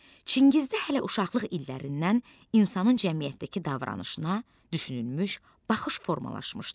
Çingizdə hələ uşaqlıq illərindən insanın cəmiyyətdəki davranışına düşünülmüş baxış formalaşmışdı.